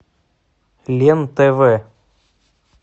лен тв